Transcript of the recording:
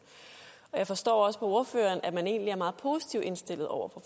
jeg forstår også på ordføreren at man egentlig er meget positiv indstillet over for